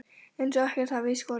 Eins og ekkert hafi í skorist.